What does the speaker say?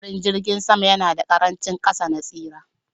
Hadarin jirgin sama yana da ƙarancin kaso na tsira